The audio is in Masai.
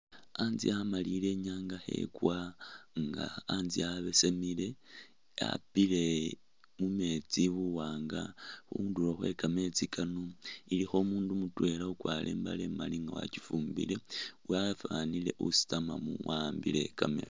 Hatse hamaliyile inyatsa khekwa inga hatse habesemile khapile mumetsi buwanga khundulo khwekameetsi kano ilikho umundu mutwela ukwarile imbale inga wakyifumbile wafanile usitamamu wahambile kameetsi.